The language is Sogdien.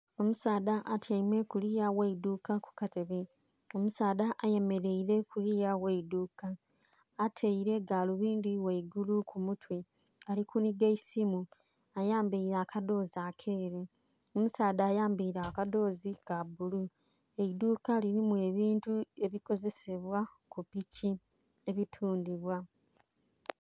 Omusaadha atyaime kuliya gh'eidhuuka ku katebe. Omusaadha ayemeleile kuliya gh'eidhuuka. Ataile galubindi ghaigulu ku mutwe, ali kunhiga eisimu. Ayambaile akadhoozi akeeru. Omusaadha ayambaile akadhoozi ka bbulu. Eidhuuka lilimu ebintu ebikozesebwa ku piki, ebitundhibwa.